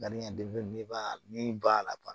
ni ba lafa